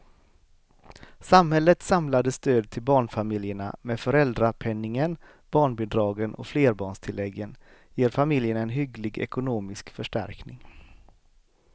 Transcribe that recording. Samhällets samlade stöd till barnfamiljerna med föräldrapenningen, barnbidragen och flerbarnstilläggen ger familjerna en hygglig ekonomisk förstärkning.